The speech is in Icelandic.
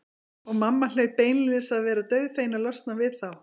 Og mamma hlaut beinlínis að vera dauðfegin að losna við þá.